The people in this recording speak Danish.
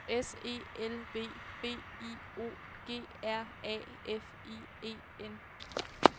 S E L V B I O G R A F I E N